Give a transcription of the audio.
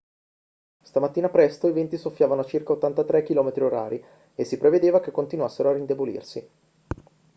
stamattina presto i venti soffiavano a circa 83 km/h e si prevedeva che continuassero a indebolirsi